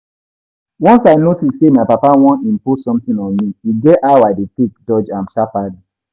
Once I notice say my papa wan impose something on me, e get how I dey take dodge am sharpaly